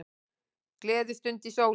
Gleðistund í sólinni